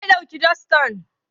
Wa ya ɗauki dastar?